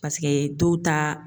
Paseke dɔw taa